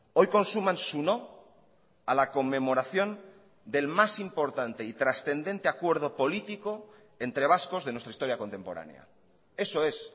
hoy consuman su no a la conmemoración del más importante y trascendente acuerdo político entre vascos de nuestra historia contemporánea eso es